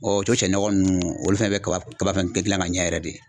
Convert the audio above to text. o sɛnɔgɔ nunnu olu fɛnɛ bɛ kaba kaba fɛnɛ gilan ka ɲɛ yɛrɛ de .